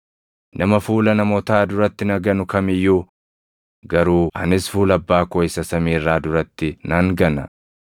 Nama fuula namootaa duratti na ganu kam iyyuu garuu anis fuula Abbaa koo isa samii irraa duratti nan gana.